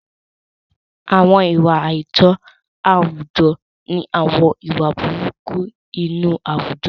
Àwọn ìwà àìtọ́ àwùjọ ni àwọn ìwà burúkú inú àwùjọ.